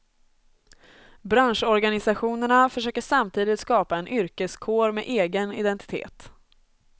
Branschorganisationerna försöker samtidigt skapa en yrkeskår med egen identitet.